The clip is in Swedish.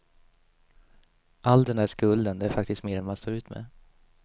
All den där skulden, det är faktiskt mer än man står ut med.